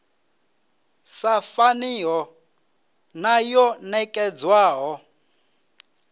sa faniho na yo nekedzwaho